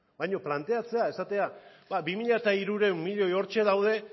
baina planteatzea esatea bi mila hirurehun milioi hortxe daude